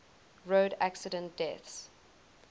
road accident deaths